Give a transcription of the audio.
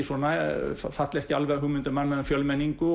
falli ekki alveg að hugmyndum manna um fjölmenningu